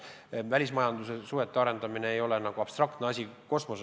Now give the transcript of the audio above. Välismajandussuhete arendamine ei ole ju nagu mingi abstraktne asi kosmoses.